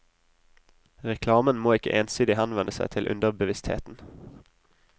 Reklamen må ikke ensidig henvende seg til underbevisstheten.